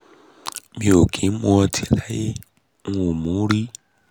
mi ò kí ń mọtí láyé n ò mu ún rí